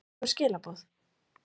einhver skilaboð?